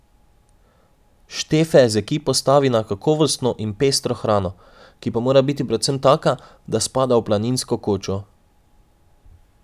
Štefe z ekipo stavi na kakovostno in pestro hrano, ki pa mora biti predvsem taka, da spada v planinsko kočo.